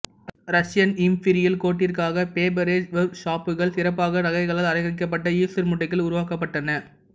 Russian imperial கோர்ட்டிற்காக Faberge வொர்க்ஷாப்கள் சிறப்பாக நகைகளால் அலங்கரிக்கப்பட்ட ஈஸ்டர் முட்டைகள் உருவாக்கப்பட்டன